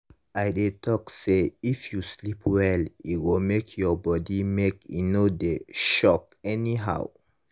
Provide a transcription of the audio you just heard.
i dey talk say if you sleep well e go make your body make e no dey sock anyhow